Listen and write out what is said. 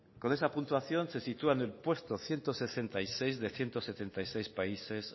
con esa puntuación se sitúa en el puesto ciento sesenta y seis de ciento setenta y seis países